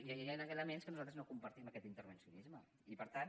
i hi ha elements en què nosaltres no compartim aquest intervencionisme i per tant